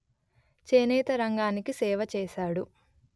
చేనేత రంగానికి సేవ చేసాడు